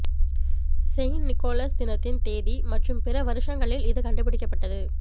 Saint Nicholas தினத்தின் தேதி மற்றும் பிற வருஷங்களில் இது கண்டுபிடிக்கப்பட்டது